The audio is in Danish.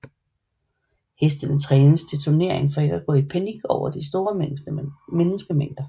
Hestene trænes til turnering for ikke at gå i panik over de store menneskemængder